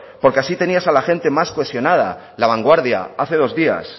porque así tenías a la gente más cohesionada la vanguardia hace dos días